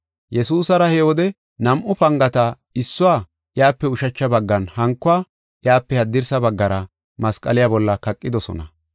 Yesuusara he wode nam7u pangata issuwa iyape ushacha baggan, hankuwa iyape haddirsa baggara, masqaliya bolla kaqidosona.